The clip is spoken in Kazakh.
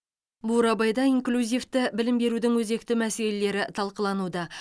бурабайда инклюзивті білім берудің өзекті мәселелері талқылануда